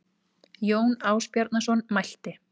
Jón Ásbjarnarson mælti